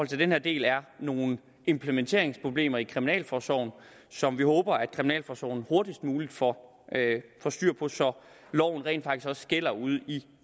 til den her del er nogle implementeringsproblemer i kriminalforsorgen som vi håber kriminalforsorgen hurtigst muligt får styr på så loven rent faktisk også gælder ude i